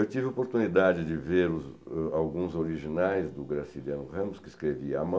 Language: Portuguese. Eu tive a oportunidade de ver os alguns originais do Graciliano Ramos, que escrevia à mão,